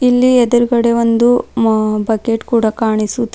ಇಲ್ಲಿ ಎದುರ್ಗಡೆ ಒಂದು ಮ ಬಕೆಟ್ ಕೂಡ ಕಾಣಿಸುತ್ತಿ--